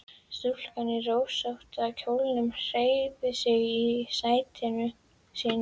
Stúlkan í rósótta kjólnum hreyfði sig í sæti sínu.